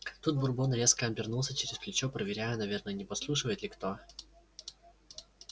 тут бурбон резко обернулся через плечо проверяя наверное не подслушивает ли кто